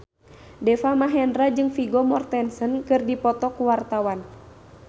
Deva Mahendra jeung Vigo Mortensen keur dipoto ku wartawan